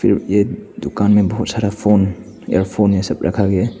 ये दुकान में बहुत सारा फोन इयरफोन ये सब रखा गया है।